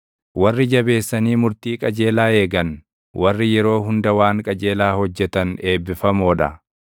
Warri jabeessanii murtii qajeelaa eegan, warri yeroo hunda waan qajeelaa hojjetan eebbifamoo dha.